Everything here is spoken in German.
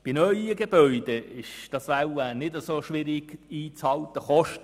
Bei neuen Gebäuden ist es wahrscheinlich nicht so schwierig, dies einzuhalten.